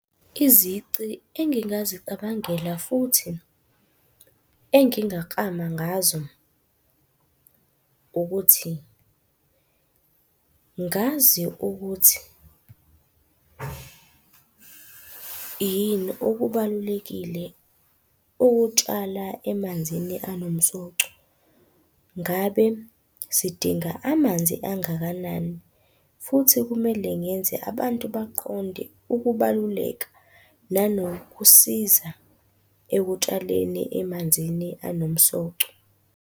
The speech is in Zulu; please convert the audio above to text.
Izici engingazicabangela futhi engingaklama ngazo ukuthi, ngazi ukuthi yini okubalulekile ukutshala emanzini anomsoco. Ngabe sidinga amanzi angakanani, futhi kumele ngenze abantu baqonde ukubaluleka nanokusiza ekutshaleni emanzini anomsoco.